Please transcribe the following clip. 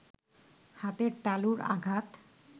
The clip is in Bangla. হাতের তালুর আঘাত